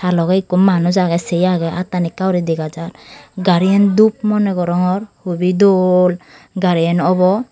ta logey ikko manuch agey se agey attan ekkauri dega jar gariyan dup moneh gorongor hobi dol gariyan obo.